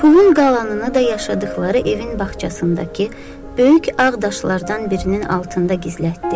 Pulun qalanını da yaşadıqları evin bağçasındakı böyük ağ daşlardan birinin altında gizlətdi.